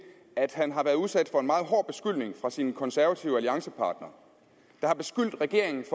at han har været udsat for en meget hård beskyldning fra sine konservative alliancepartnere der har beskyldt regeringen